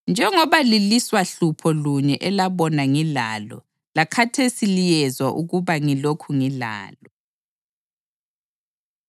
njengoba lilwisa hlupho lunye elabona ngilalo, lakhathesi liyezwa ukuba ngilokhu ngilalo.